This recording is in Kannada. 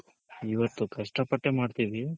ಇವತ್ತು ಕಷ್ಟ ಪಟ್ಟೆ ಮಾಡ್ತಿವಿ